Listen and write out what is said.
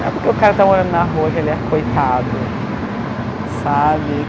Não é porque o cara está morando na rua que ele é coitado, sabe?